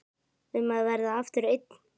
Um að verða aftur einn.